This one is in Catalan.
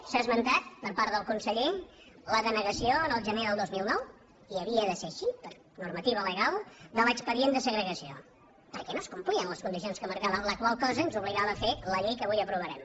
s’ha esmentat per part del conseller la denegació el gener del dos mil nou i havia de ser així per normativa legal de l’expedient de segregació perquè no es complien les condicions que marcava la qual cosa ens obligava a fer la llei que avui aprovarem